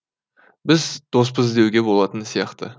біз доспыз деуге болатын сияқты